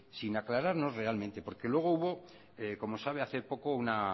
sin aclararnos realmente porque luego hubo como sabe hace poco una